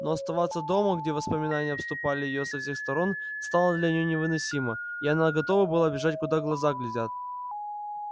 но оставаться дома где воспоминания обступали её со всех сторон стало для нее невыносимо и она готова была бежать куда глаза глядят